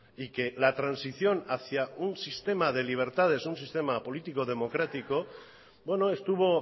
y que la transición hacia un sistema de libertades un sistema político democrático bueno estuvo